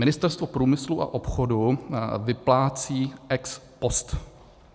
Ministerstvo průmyslu a obchodu vyplácí ex post.